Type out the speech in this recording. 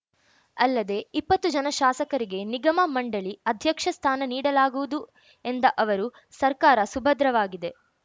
ಅಲ್ಲದೆ ಇಪ್ಪತ್ತು ಜನ ಶಾಸಕರಿಗೆ ನಿಗಮಮಂಡಳಿ ಅಧ್ಯಕ್ಷ ಸ್ಥಾನ ನೀಡಲಾಗುವುದು ಎಂದ ಅವರು ಸರ್ಕಾರ ಸುಭದ್ರವಾಗಿದೆ